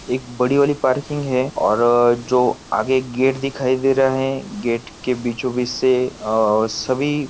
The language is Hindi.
एक बड़ी वाली पार्किंग है और अ जो आगे गेट दिखाई दे रहा है गेट के बिचो बीच से अ सभी--